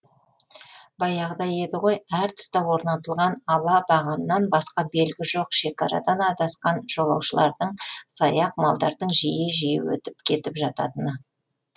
баяғыда еді ғой әр тұсқа орнатылған ала бағаннан басқа белгі жоқ шекарадан адасқан жолаушылардың саяқ малдардың жиі жиі өтіп кетіп жататыны